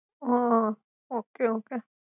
હા okay okay